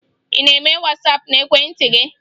Ị na-eme Wasaapụ n'ekwentị gị?